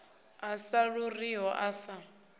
a sa ḓuriho a sa